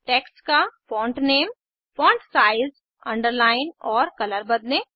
text का font name font size underline और colour बदलें